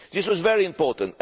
This was very important.